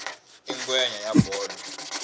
i ngwenya ya bolo